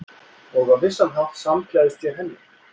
Og á vissan hátt samgleðst ég henni.